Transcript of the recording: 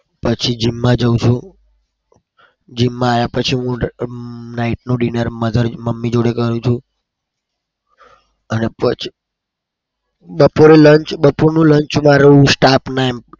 પછી gym માં જાઉં છું. gym માં આયા પછી હું night નું dinner mother મમ્મી જોડે કરું છું. અને પછી બપોરનું lunch માર હું staff ના એમ